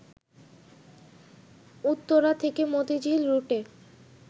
উত্তরা থেকে মতিঝিল রুটে